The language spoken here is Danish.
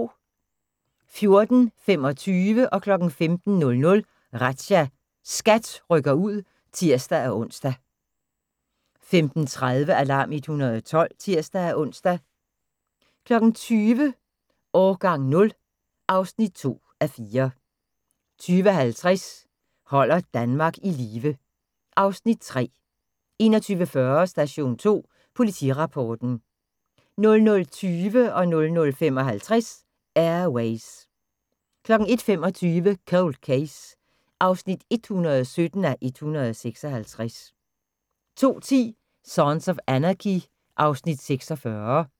14:25: Razzia – SKAT rykker ud (tir-ons) 15:00: Razzia – SKAT rykker ud (tir-ons) 15:30: Alarm 112 (tir-ons) 20:00: Årgang 0 (2:4) 20:50: Holder Danmark i live (Afs. 3) 21:40: Station 2 Politirapporten 00:20: Air Ways 00:55: Air Ways 01:25: Cold Case (117:156) 02:10: Sons of Anarchy (Afs. 46)